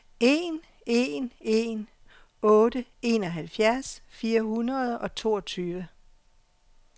en en en otte enoghalvtreds fire hundrede og toogtyve